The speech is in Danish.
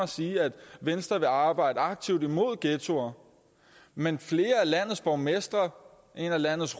sige at venstre vil arbejde aktivt imod ghettoer men flere af landets borgmestre og en af landets